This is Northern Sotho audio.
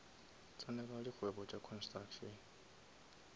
tsenela dikgwebo tša construction